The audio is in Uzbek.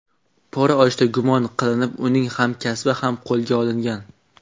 Pora olishda gumon qilinib uning hamkasbi ham qo‘lga olingan.